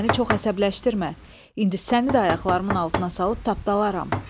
Məni çox əsəbləşdirmə, indi səni də ayaqlarımın altına salıb tapdalaram,